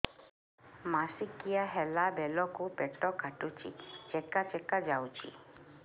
ମାସିକିଆ ହେଲା ବେଳକୁ ପେଟ କାଟୁଚି ଚେକା ଚେକା ଯାଉଚି